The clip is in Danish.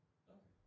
Okay